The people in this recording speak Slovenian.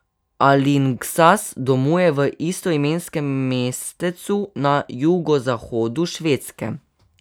Alingsas domuje v istoimenskem mestecu na jugozahodu Švedske.